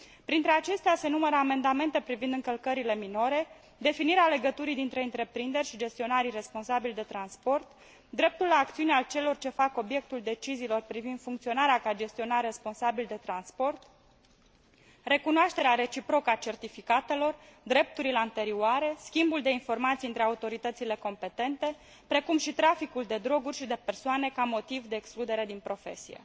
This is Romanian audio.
Printre acestea se numără amendamente privind încălcările minore, definirea legăturii dintre întreprinderi și gestionarii responsabili de transport, dreptul la acțiune al celor ce fac obiectul deciziilor privind funcționarea ca gestionar responsabil de transport, recunoașterea reciprocă a certificatelor, drepturile anterioare, schimbul de informații între autoritățile competente, precum și traficul de droguri și de persoane ca motiv de excludere din profesie.